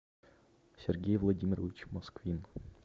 сергей владимирович москвин